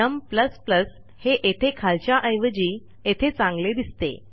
नम हे येथे खालच्याऐवजी येथे चांगले दिसते